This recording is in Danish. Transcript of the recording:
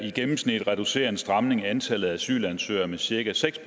i gennemsnit reducerer en stramning antallet af asylansøgere med cirka seks